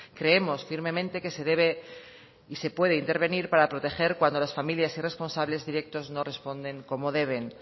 creemos firmemente que se debe y se puede intervenir para proteger cuando las familias y responsables directos no responden como deben